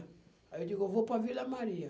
Aí eu digo, eu vou para a Vila Maria.